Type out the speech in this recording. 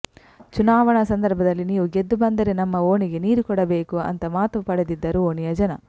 ಚುನಾವಣೆ ಸಂದರ್ಭದಲ್ಲಿ ನೀವು ಗೆದ್ದು ಬಂದರೆ ನಮ್ಮ ಓಣಿಗೆ ನೀರು ಕೊಡಬೇಕು ಅಂತ ಮಾತು ಪಡೆದಿದ್ದರು ಓಣಿಯ ಜನ